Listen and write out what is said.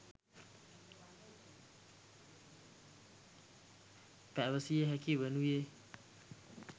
පැවසිය හැකි වනුයේ